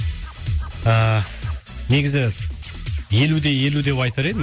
ыыы негізі елу де елу деп айтар едім